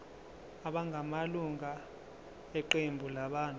abangamalunga eqembu labantu